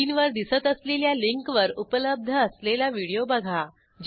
स्क्रीनवर दिसत असलेल्या लिंकवर उपलब्ध असलेला व्हिडिओ बघा